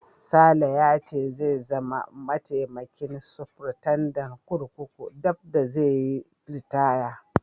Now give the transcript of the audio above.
Sale ya ce zai zama mataimakin sufritandan kurkuku daf da zai yi ritaya.